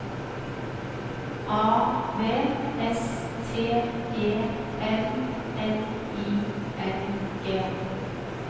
A V S T E M N I N G